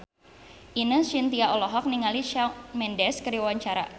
Ine Shintya olohok ningali Shawn Mendes keur diwawancara